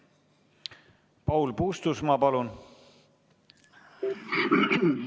Paul Puustusmaa, palun!